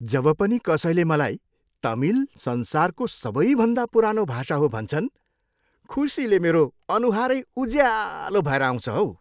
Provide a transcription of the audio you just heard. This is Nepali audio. जब पनि कसैले मलाई तमिल संसारको सबैभन्दा पुरानो भाषा हो भन्छन्, खुसीले मेरो अनुहारै उज्यालो भएर आउँछ हौ।